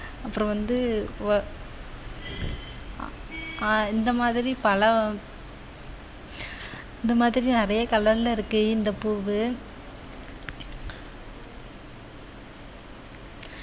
அப்புறம் வந்து வ~ ஆஹ் இந்த மாதிரி பல இந்த மாதிரி நிறைய colour ல இருக்கு இந்த பூவு